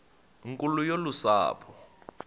nkulu yolu sapho